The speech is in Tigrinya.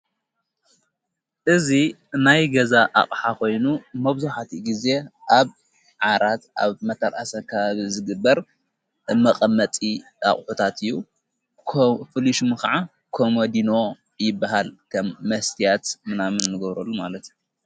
እዙ ናይ ገዛ ኣቕሓ ኾይኑ መብዙኃቲ ጊዜ ኣብ ዓራት ኣብ መታልኣሰካብ ዝግበር መቐመጢ ኣቕሑታት እዩ። ፍሊሽሚ ኸዓ ኮምዲኖ ይበሃል ከም መስትያት ምናምን ንገብረሉ ማለት እዩ።